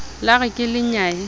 la re ke le nyaye